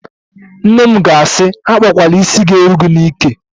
Nne m ga-asị, "akpakwala ísí ga-eru gị n'íkè"!